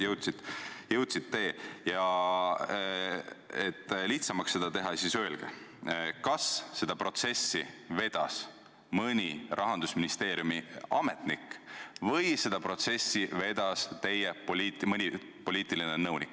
Ja et vastamist lihtsamaks teha, siis öelge, kas seda protsessi vedas mõni Rahandusministeeriumi ametnik või vedas seda protsessi mõni teie poliitiline nõunik.